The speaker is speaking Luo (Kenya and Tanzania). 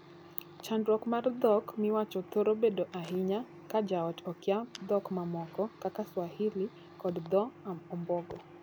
Chandruok mar dhok miwacho thoro bedo ahinya ka joot okia dhok mamoko kaka swahili kod dhoo ombogo.